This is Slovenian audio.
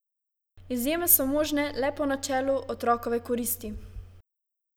Izjeme so možne le po načelu otrokove koristi.